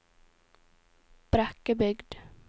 Brekkebygd